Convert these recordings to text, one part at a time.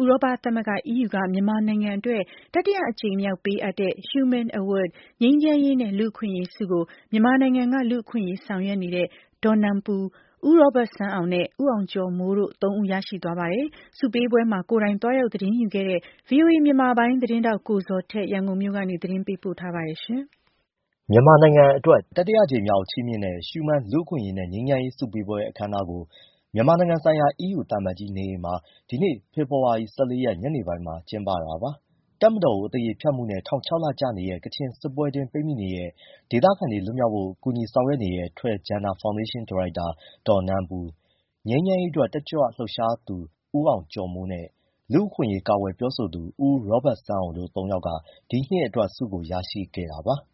ဥရောပသမဂ္ဂ က မြန်မာနိုင်ငံအတွက် တတိယအကြိမ် မြောက်ပေးအပ်တဲ့ ရှူးမန်း ငြိမ်းချမ်းရေးနဲ့ လူ့အခွင့်အရေးဆုကို မြန်မာနိုင်ငံက လူ့အခွင့်အရေး ဆောင်ရွက်နေတဲ့ ဒေါ်နန်ပူ၊ ဦးရောဘတ်စန်းအောင်နဲ့ ဦးအောင်ကျော်မိုး တို့သုံးဦး ရရှိသွားပါတယ်။ ဆုပေးပွဲကို ကိုယ်တိုင်သွားရောက် သတင်းယူခဲ့တဲ့ ဗွီအိုအေ မြန်မာပိုင်းသတင်းထောက် ကိုဇော်ထက် ရန်ကုန်ကနေ ပေးပို့ထားပါတယ်။ မြန်မာနိုင်ငံအတွက် တတိယအကြိမ်မြောက် ချီးမြှင့်တဲ့ ရှူးမန်း လူ့အခွင့်အရေးနဲ့ ငြိမ်းချမ်းရေးဆု ပေးအပ်ပွဲ အခမ်းအနားကို မြန်မာနိုင်ငံဆိုင်ရာ အီးယူသံအမတ်ကြီး နေအိမ်မှာ ဒီနေ့ဖေဖော်ဝါရီ ၁၄ ရက် ညနေပိုင်းမှာ ကျင်းပတာပါ။ တပ်မတော်ကို အသရေဖျက်မှုနဲ့ ထောင် ၆လ ကျနေတဲ့ ကချင်စစ်ပွဲအတွင်းပိတ်မိနေတဲ့ ဒေသခံတွေလွတ်မြောက်ဖို့ ဆောင်ရွက်နေတဲ့ Htoi Gender ဖောင်ဒေးရှင်း ဒါရိုက်တာ နန်ပူ၊ ငြိမ်းချမ်းရေးအတွက် တက်ကြွလှုပ်ရှားဆောင်ရွက်သူ ဦးအောင်ကျော်မိုးနဲ့ လူ့အခွင့်အရေး ကာကွယ်ပြောဆိုသူ ဦးရောဘတ်စန်းအောင်တို့သုံးယောက်က ဒီနှစ်အတွက် ဆုကိုရရှိခဲ့ပါတယ်။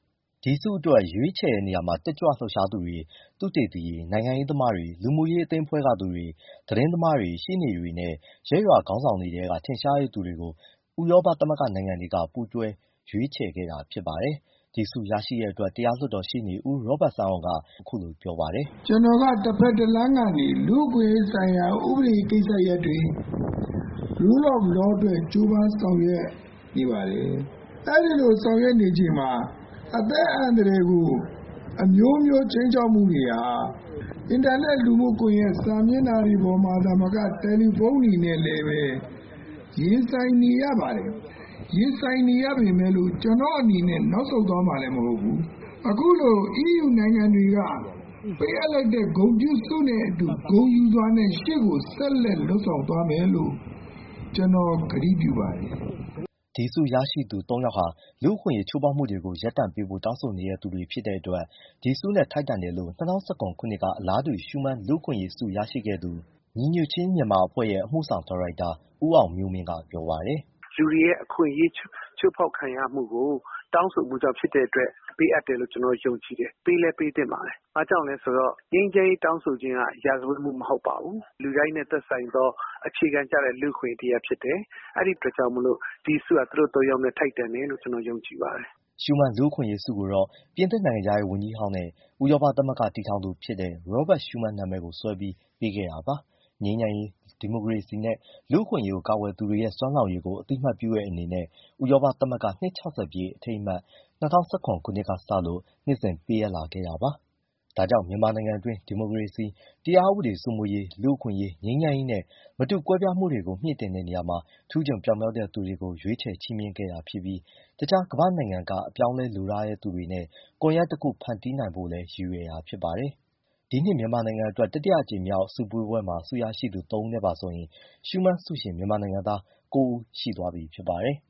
ဒီဆုအတွက်ရွေးချယ်တဲ့နေရာမှာ တက်ကြွလှုပ်ရှားသူတွေ၊ သုတေသီတွေ၊ နိုင်ငံရေးသမားတွေ၊ လူမှုရေးအသင်းအဖွဲ့ကသူတွေ၊ သတင်းသမားတွေ၊ ရှေ့နေတွေနဲ့ ရပ်ရွာခေါင်းဆောင်တွေထဲက ထင်ရှားတဲ့သူတွေကို ဥရောပသမဂ္ဂနိုင်ငံတွေက ပူးတွဲရွေးချယ်ခဲ့တာဖြစ်ပါတယ်။ ဒီဆုကိုရတဲ့အတွက် တရားလွှတ်တော်ရှေ့နေ ဦးရောဘတ်စန်းအောင်က သူရဲ့ လူ့အခွင့်အရေးအပေါ် မြင်တဲ့ သဘောထားကို အခုလိုပြောပါတယ်။ “ကနော်ကတဖက်တလမ်းကနေ လူ့အခွင့်အရေးဆိုင်ရာ ဥပဒေကိစ္စရပ်တွေ လူ့ဘောင်ဘဝအတွက်ကြိုးပမ်းဆောင်ရွက်နေပါတယ်။ အဲဒီလိုဆောင်ရွက်နေချိန်မှာ အသက်အန္တရာယ်ကို အမျိုးမျိုးခြိမ်းခြောက်မှုတွေက အင်တာနက် လူမှုကွန်ရက်စာမျက်နှာတွေပေါ်မှာမကတယ်လီဖုန်တွေနဲ့လည်းပဲ ရင်ဆိုင်နေရပေမယ့်လို့ ကျနော့အနေနဲ့နောက်ဆုတ်သွားမှာမဟုတ်ဘူး အခုလို အီးယူနိုင်ငံတွေက ပေးအပ်လိုက်တဲ့ ဂုဏ်ပြုဆုနဲ့အတူ ဂုဏ်ယူစွာနဲ့ရှေ့ကိုဆက်လက်ဆောင်ရွက်သွားမယ်လို့ ကျနော်ကတိပြုပါတယ်” အခု ဆုရရှိသူ သုံးယောက်ဟာ လူ့အခွင့်အရေးချိုးဖောက်မှုတွေကို ရပ်တန့်ပေးဖို့ တောင်းဆိုနေတဲ့သူတွေ ဖြစ်တဲ့အတွက် ဒီဆုနဲ့ထိုက်တန်တယ်လို့ ၂၀၁၇ ခုနှစ်က အလားတူ ရှူးမန်း လူ့အခွင့်အရေးဆုရခဲ့သူ၊ ညီညွတ်ခြင်းမြန်မာ အဖွဲ့ရဲ့ အမှုဆောင်ဒါရိုက်တာ ဦးအောင်မျိုးမင်းက ပြောပါတယ်။ “လူတွေရဲ့ အခွင့်အရေးချိုးဖောက်ခံရမှုကို တောင်းဆိုမှုကြောင့်ဖြစ်တဲ့အတွက် ပေးအပ်တယ်လို့ ကျနော်ကယုံကြည်တယ်။ ပေးလည်းပေးသင့်ပါတယ်။ ဘာကြောင့်လဲ ဆိုတော့ ငြိမ်းချမ်းရေးတောင်းဆိုခြင်းဟာ ရာဇဝတ်မှုမဟုတ်ပါဘူး၊ လူတိုင်းနဲ့သက်ဆိုင်သော အခြေခံကျတဲ့လူ့အခွင့်အရေးတရပ်ဖြစ်တယ်။ အဲဒီအပေါ်မှာမှ အရေးယူခြင်းကိစ္စဖြစ်လာတဲ့အတွက် ဒီဆုဟာ သူတို့သုံးယောက်နဲ့ထိုက်တန်တယ်လို့ ကျနော်ယုံကြည်ပါတယ်။” ရှူးမန်း လူ့အခွင့်အရေးဆုကိုတော့ ပြင်သစ်နိုင်ငံခြားရေးဝန်ကြးဟောင်းနှင့် ဥရောပသမဂ္ဂ တည်ထောင်သူဖြစ်တဲ့ ရောဘတ်ရှုးမန်း RobertSchuman နာမည်ကိုစွဲပြီးပေးထားတဲ့ ငြိမ်းချမ်းရေး၊ ဒီမိုကရေစီနဲ့ လူ့အခွင့်အရေးကို ကာကွယ်သူတွေရဲ့ စွမ်းဆောင်ရည်ကို အသိအမှတ်ပြုတဲ့အနေနဲ့ ဥရောပသမဂ္ဂ အနှစ် ပြည့် အထိမ်းအမှတ် ၂၀၁၇ ခုနှစ်ကစလို့ နှစ်စဉ်ပေးအပ်လာခဲ့တာပါ။ ဒါကြောင့် မြန်မာနိုင်ငံအတွင်း ဒီမိုကရေစီ၊ တရားဥပဒေစိုးမိုးရေး၊ လူ့အခွင့်အရေး၊ ငြိမ်းချမ်းရေးနဲ့ မတူကွဲပြားမှုတွေကို မြှင့်တင်တဲ့နေရာမှာ ထူးချွန်ပြောင်မြောက်တဲ့သူတွေကို ရွေးချယ်ချီးမြှင့်တာဖြစ်ပြီး တခြားကမ္ဘာ့နိုင်ငံတွေက အပြောင်းအလဲလိုလားတဲ့ သူတွေနဲ့ ကွန်ရက်တစ်ခု ဖန်တီးပေးနိုင်ဖို့လည်း ရည်ရွယ်တာဖြစ်ပါတယ်။ ဒီနှစ် မြန်မာနိုင်ငံအတွက် တတိယအကြိမ်မြောက် ချီးမြှင့်ပွဲမှာ ဆုရရှိသူ သုံးဦးနဲ့ပါဆိုရင် ရှူးမန်းဆုရှင် မြန်မာနိုင်ငံသား ၉ ဦးရှိသွားပြီဖြစ်ပါတယ်။